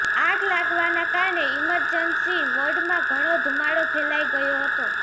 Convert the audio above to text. આગ લાગવાના કારણે ઇમરજન્સી વોર્ડમાં ઘણો ધુમાડો ફેલાઈ ગયો હતો